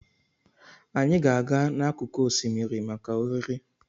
Anyị ga-aga n'akụkụ osimiri maka oriri.